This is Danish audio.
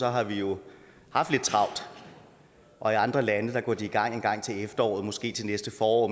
har vi jo haft lidt travlt og i andre lande går de i gang engang til efteråret måske til næste forår